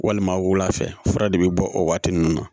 Walima wula fɛ fura de be bɔ o waati nunnu na